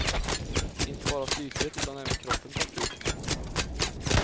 Inte bara psyket utan även kroppen tar stryk.